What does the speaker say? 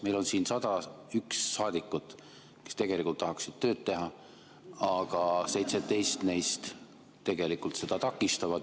Meil on siin 101 saadikut, kes tahaksid tööd teha, aga 17 neist seda takistavad.